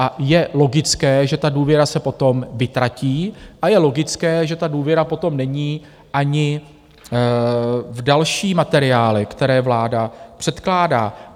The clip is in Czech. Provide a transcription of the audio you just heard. A je logické, že ta důvěra se potom vytratí a je logické, že ta důvěra potom není ani v další materiály, které vláda předkládá.